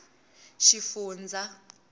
xifundzha